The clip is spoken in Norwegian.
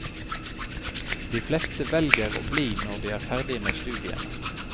De fleste velger å bli når de er ferdig med studiene.